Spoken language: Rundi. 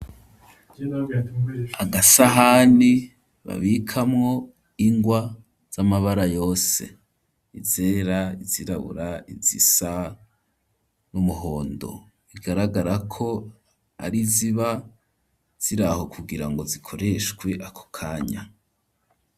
Agasahani babikamwo ingwa z'amabara yose; izera, izirabura, izisa n'umuhondo; bigaragara ko ari iziba ziri aho kugira ngo zikoreshwe ako kanya.